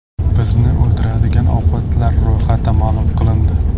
Bizni o‘ldiradigan ovqatlar ro‘yxati ma’lum qilindi.